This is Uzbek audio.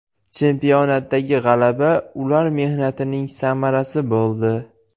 Chempionatdagi g‘alaba ular mehnatining samarasi bo‘ldi.